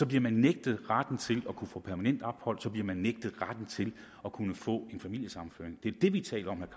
bliver man nægtet retten til at kunne få permanent ophold så bliver man nægtet retten til at kunne få familiesammenføring det er det vi taler om